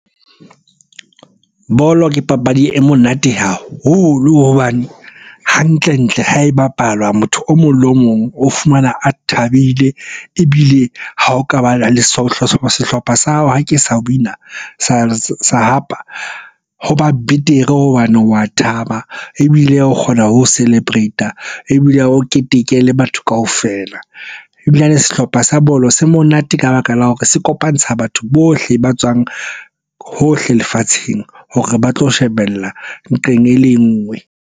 Bolo ke papadi e monate haholo hobane hantle-ntle ha e bapalwa, motho o mong le o mong o fumana a thabile. Ebile ha o ka bana le sohle sehlopha sa hao ha ke sa wina, sa hapa ho ba betere hobane wa thaba, ebile o kgona ho celebrate-a, ebile o keteke le batho kaofela. Ebilane sehlopha sa bolo se monate ka baka la hore se kopantsha batho bohle ba tswang hohle lefatsheng hore ba tlo shebella nqeng e le nngwe.